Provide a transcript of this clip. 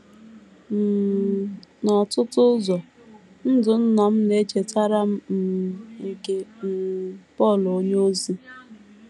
um N’ọtụtụ ụzọ, ndụ nna m na - echetara m um nke um Pọl onyeozi.